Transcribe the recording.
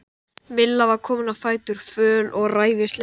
Milla var komin á fætur, föl og ræfilsleg.